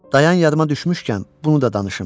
Dayan, yadıma düşmüşkən, bunu da danışım,